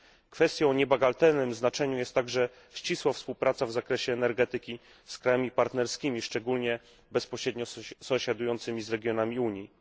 Kwestią o niebagatelnym znaczeniu jest także ścisła współpraca w zakresie energetyki z krajami partnerskimi, szczególnie bezpośrednio sąsiadującymi z regionami Unii.